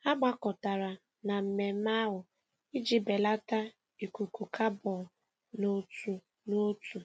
Ha gbakọtara na mmemme ahụ iji belata ikuku kabọn n'otu n'otu.